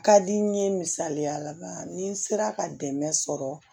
Ka di n ye misaliya la ni n sera ka dɛmɛ sɔrɔ